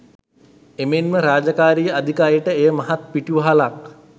එමෙන්ම රාජකාරී අධික අයට එය මහත් පිටිවහලක්.